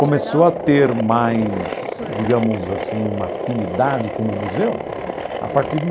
Começou a ter mais, digamos assim, uma afinidade como museu a partir de